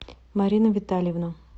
марина витальевна